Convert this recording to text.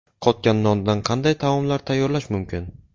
Qotgan nondan qanday taomlar tayyorlash mumkin?.